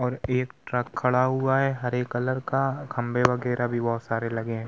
और एक ट्रक खड़ा हुआ है। हरे कलर का खम्बे बगैरह भी बोहोत सारे लगे हैं।